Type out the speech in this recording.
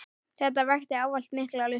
Þetta vakti ávallt mikla lukku.